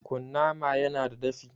Kunnama ya na da dafi